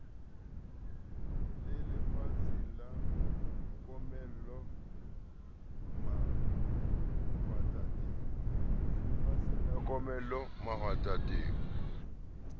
le lefatsheng la komello mahwatateng